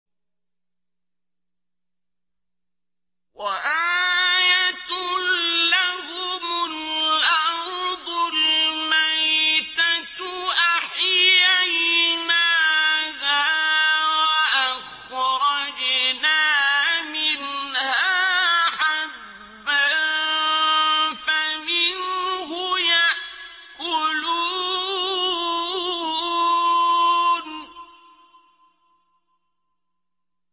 وَآيَةٌ لَّهُمُ الْأَرْضُ الْمَيْتَةُ أَحْيَيْنَاهَا وَأَخْرَجْنَا مِنْهَا حَبًّا فَمِنْهُ يَأْكُلُونَ